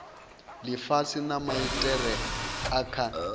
lifhasi na maitele a kha